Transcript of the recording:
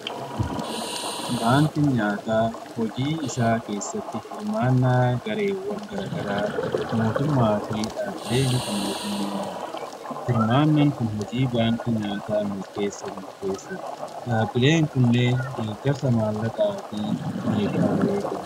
baankiin nyaataa hojii isaa keessatti hirmaannaa gareewwan garaa garaa mootummaa fi dhaabbilee miti mootummaa barbaada. hirmaannan kun hojii baankii nyaataa milkeessuf murteessadha. dhaabbileen kun illee deeggarsa maallaqaa fi meeshaalee kenna.